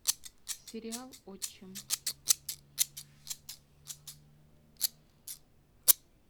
сериал отчим